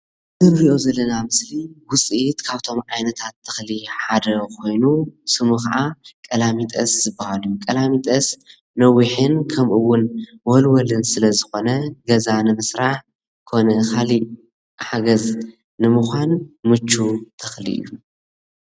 እዚ ንሪኦ ዘለና ምስሊ ዉፅኢት ካብቶም ዓይነታት ተክሊ ሓደ ኮይኑ። ስሙ ከዓ ቀላሚጦስ ዝበሃል እዩ ቀላሚጦስ ነዊሕን ከምኡ እዉን ወልወልን ስለ ዝኮነ ገዛ ንምስራሕ ኮነ ካሊእ ሓገዝ ንሙኳን ምቹዉ ተክሊ እዩ።